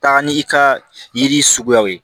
Taa ni i ka yiri suguyaw ye